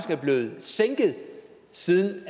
er blevet sænket siden